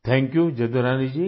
Thank You Jadurani Ji